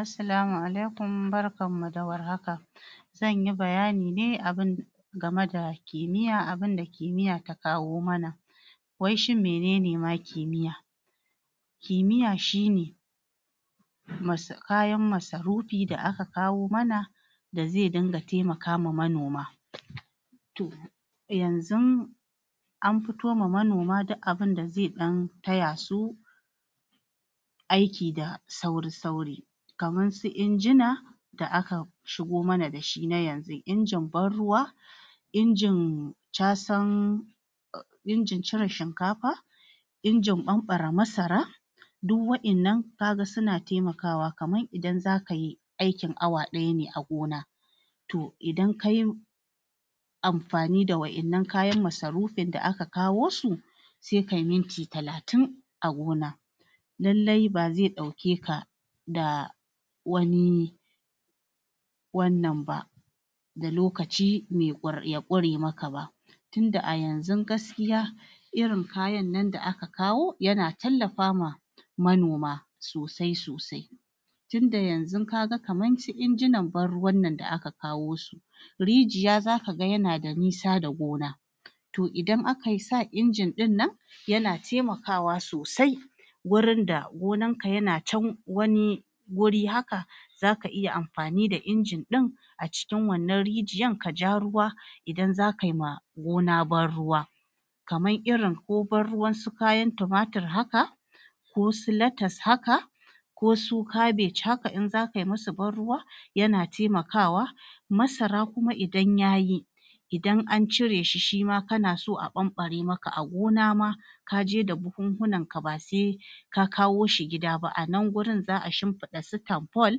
assalama alaikum barkamu da war haka zanyi bayani ne abun game da kimiyya abunda kimiyya ta kawo mana wai shin menene ma kimiyya kimiyya shine kayan masa rufi da ka kawo mana da zai dinga taimakama manoma to yanzun an fitoma manoma duk abinda zai ɗan tayasu aiki da sauri sauri kaman su injina da ka shigo mana dashi na yanzu injin ban ruwa injin casan injin cire shinkafa injin ɓanɓare masara duk wa innan kaga suna taimakawa kamar idan zakayi aiki awa ɗaya ne a gona to idan kayi amfani da wa innan kayan masarufin da aka kawo su sai kayi minti talatin a gona lallai bazai ɗauke ka da wani wannan ba da lokaci ya ƙure maka ba dan a yanzun gaskiya irin kayan nan da aka kawo yana tallafawa manoma sosai sosai tunda yanzun kaga kamar su injinan ban ruwan nan da aka kawo rijiya zakaga yana da nisa da gona to idan akasa injin ɗinnan yana taimakawa sosai wurin da gonanka yana can wani wuri haka zaka iya amfani da injin ɗin a cikin wannan rijiyan kaja ruwa idan zakai ma gona ban ruwa kamar irin ko ban ruwan su fayan tumatur haka ko su latas haka ko su kabaj haka in zakai musu ban ruwa yana taimakawa masara kuma idan yayi idan ancire shi shima kanaso a ɓanɓare maka a gona ma kaje da buhun bunanka ba sai basai ka kawo shi gida ba anan gurin za a shinfiɗa su tanful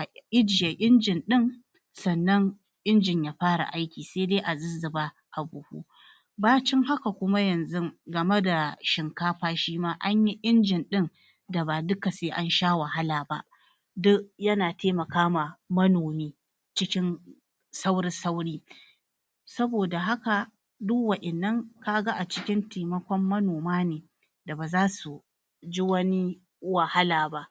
a ijje injin ɗin sannan injin ya fara aiki sai dai azuzzuba abuhu bacin haka kuma yanzun game da shinkafa shima anyi injin ɗin da ba duka sai ansha wahala ba du yana taimakama manomi cikin sauri sauri saboda haka du wa innan kaga a cikin taimaƙon manoma ne da bazasu ji wani wahala ba